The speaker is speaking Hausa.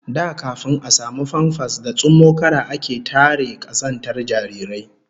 Da kafin a samu famfas da tsummokara ake tare kazantar jarirai